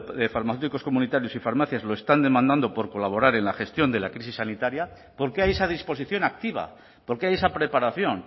de farmacéuticos comunitarios y farmacias lo están demandando por colaborar en la gestión de la crisis sanitaria porque hay esa disposición activa porque hay esa preparación